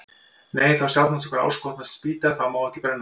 Nei, þá sjaldan okkur áskotnast spýta, þá má ekki brenna hana.